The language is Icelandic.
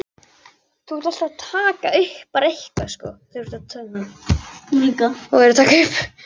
Var þetta kannski upphafið að uppgjöfinni?